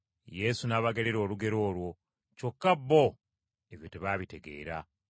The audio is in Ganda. Yesu n’abagerera olugero olwo, kyokka bo, ebyo tebaabitegeera.